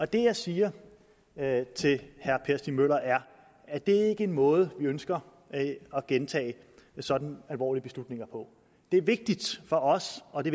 det jeg siger til herre per stig møller er at det ikke er en måde vi ønsker at gentage sådan alvorlige beslutninger på det er vigtigt for os og det